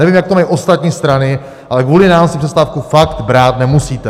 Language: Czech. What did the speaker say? Nevím, jak to mají ostatní strany, ale kvůli nám si přestávku fakt brát nemusíte.